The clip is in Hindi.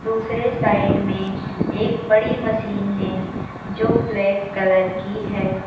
दूसरे साइड में एक बड़ी मशीन है जो ब्लैक कलर की है।